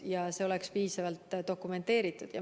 See peab olema piisavalt dokumenteeritud.